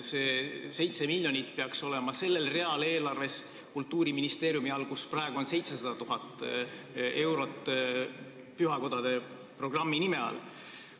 See 7 miljonit peaks aga olema eelarves sellel Kultuuriministeeriumi real, kus praegu on 700 000 eurot pühakodade programmi jaoks.